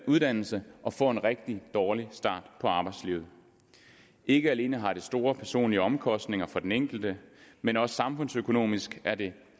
uddannelse og får en rigtig dårlig start på arbejdslivet ikke alene har det store personlige omkostninger for den enkelte men også samfundsøkonomisk er det